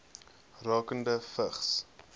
rakende vigs